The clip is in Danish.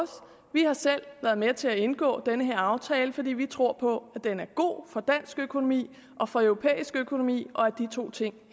vi har selv været med til at indgå den her aftale fordi vi tror på at den er god for dansk økonomi og for europæisk økonomi og at de to ting